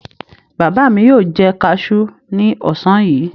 Bàbá mi yóò jẹ kaṣú ní ọ̀sán yìí.